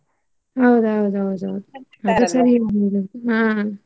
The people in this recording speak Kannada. ಹೌದೌದೌದು ಹಾ.